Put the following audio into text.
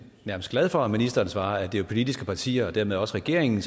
nærmest glad for at ministeren svarer at det er de politiske partier og dermed også regeringen